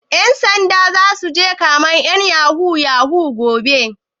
Ƴan sanda zasu je kamen ƴan yahoo yahoo gobe?